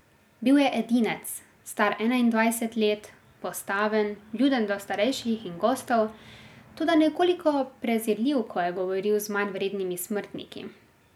Bil je edinec, star enaindvajset let, postaven, vljuden do starejših in gostov, toda nekoliko prezirljiv, ko je govoril z manjvrednimi smrtniki.